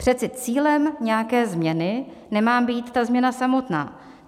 Přece cílem nějaké změny nemá být ta změna samotná.